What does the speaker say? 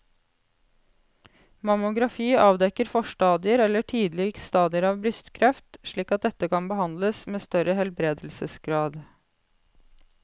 Mammografi avdekker forstadier eller tidlige stadier av brystkreft slik at dette kan behandles med større helbredelsesgrad.